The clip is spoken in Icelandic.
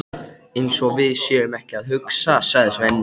Eins og við séum ekki að hugsa, sagði Svenni.